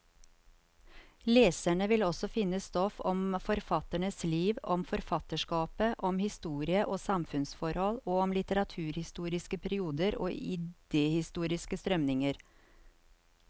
Leserne vil også finne stoff om forfatternes liv, om forfatterskapet, om historie og samfunnsforhold, og om litteraturhistoriske perioder og idehistoriske strømninger.